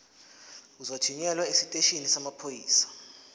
uzothunyelwa esiteshini samaphoyisa